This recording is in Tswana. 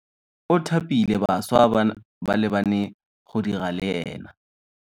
O thapile bašwa ba le bane go dira le ena.